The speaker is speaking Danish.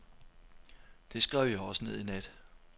Det skrev jeg også ned i nat.